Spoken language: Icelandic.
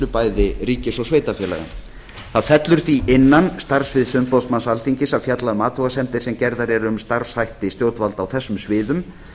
bæði ríkis og sveitarfélaga það fellur því innan starfssviðs umboðsmanns alþingis að fjalla um athugasemdir sem gerðar eru um starfshætti stjórnvalda á þessum sviðum